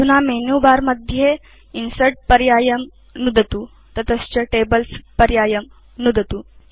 अधुना मेनुबर मध्ये Insertपर्यायं नुदतु ततश्च Tablesपर्यायं नुदतु